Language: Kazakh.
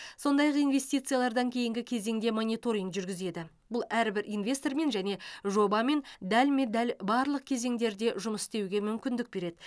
сондай ақ инвестициялардан кейінгі кезеңде мониторинг жүргізеді бұл әрбір инвестормен және жобамен дәлме дәл барлық кезеңдерде жұмыс істеуге мүмкіндік береді